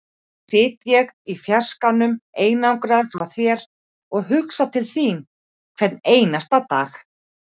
Nú sit ég í fjarskanum, einangraður frá þér, og hugsa til þín hvern einasta dag.